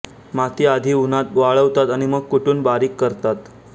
माती आधी उन्हात वाळवतात आणि मग कु्टून बारीक करतात